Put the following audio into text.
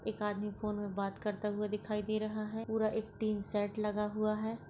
एक आदमी फ़ोन में बात करता हुआ दिखाई दे रहा है पूरा एक टिन सेट लगा हुआ है।